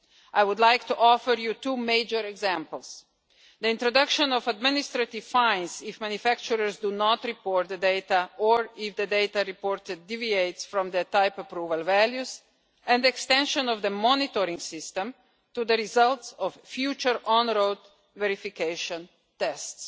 I would like to offer you two major examples the introduction of administrative fines if manufacturers do not report the data or if the data reported deviates from their type approval values, and the extension of the monitoring system to the results of future on road verification tests.